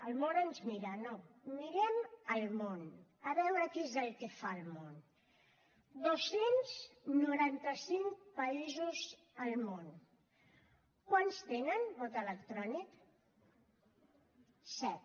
el món ens mira no mirem el món a veure què és el que fa el món dos cents i noranta cinc països al món quants tenen vot electrònic set